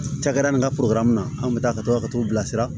Cakɛda nin ka na anw kun bɛ taa ka taa ka t'u bilasira